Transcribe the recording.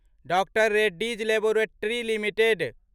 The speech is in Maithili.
doctor Reddy's laboratories limited